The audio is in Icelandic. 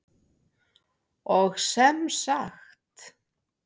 Og sem sagt!